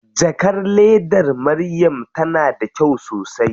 Jakar ledar Maryam tana da kyau sosai.